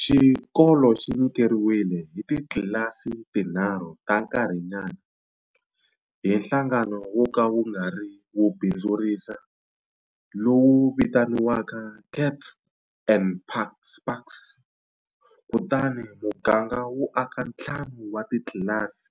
Xikolo xi nyikeriwile hi titlasi tinharhu ta nkarhinyana hi nhlangano wo ka wu nga ri wo bindzurisa lowu vitaniwaka Kats and Spaks, kutani muganga wu aka ntlhanu wa titlilasi